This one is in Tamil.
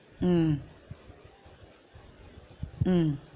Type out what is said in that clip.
உம் உம்